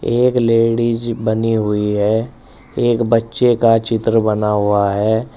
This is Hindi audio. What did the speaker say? एक लेडीज़ बनी हुई है एक बच्चे का चित्र बना हुआ है।